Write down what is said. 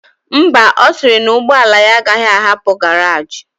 Ḿbà, osiri na ụgbọla ya agaghi ahapu garage.